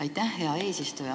Aitäh, hea eesistuja!